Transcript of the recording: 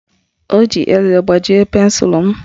O ji eze gbajie pensụlụ m